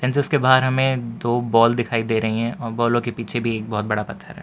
जिसके बाहर हमें दो बॉल दिखाई दे रही है और बॉलो के पीछे भी एक बहोत बड़ा पत्थर है।